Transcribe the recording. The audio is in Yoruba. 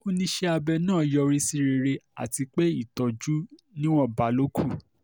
ó ní iṣẹ́ abẹ náà yọrí sí rere àti pé ìtọ́jú níwọ̀nba ló kù